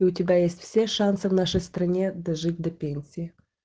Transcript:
у тебя есть все шансы в нашей стране дожить до пенсии